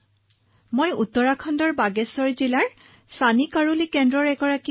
sir মই উত্তৰাখণ্ডৰ বাগেশ্বৰ জিলাৰ চানি কোৰালী কেন্দ্ৰত কাম কৰি আছো